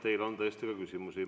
Teile on tõesti ka küsimusi.